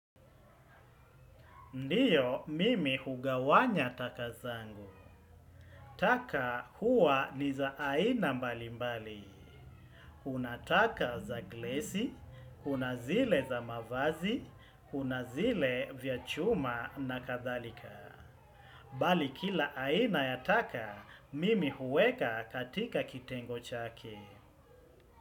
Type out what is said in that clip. Ndio mimi hugawanya taka zangu. Taka huwa ni za aina mbali mbali. Unataka za glesi, kuna zile za mavazi, kuna zile vya chuma na kathalika. Bali kila aina ya taka, mimi huweka katika kitengo chake.